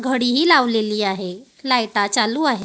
घडी ही लावलेली आहे. लाईटा चालू आहे.